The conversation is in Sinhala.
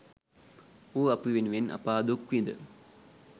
ඌ අපි වෙනුවෙන් අපා දුක් විඳ